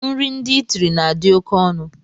Nri ndị itiri na adi oké ọnụ.